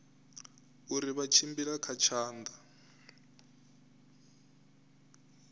uri vha tshimbila kha tshanḓa